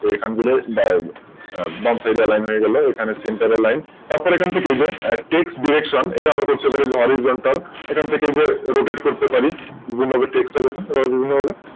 এখানগুলোর Box এই যে Aline হয়ে গেল তো এখানে CenterAline তারপর এখান থেকে এই যে Direction এটা আমরা করতে পারি যে Horizontal সেখান থেকে যে Rotet করতে পারি বিভিন্ন ধরনের Text টা দেখুন